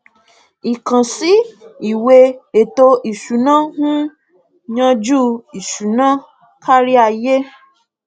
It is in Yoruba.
ìkànsí ìwé ètò ìsúná ń yanjú ìṣúná kárí ayé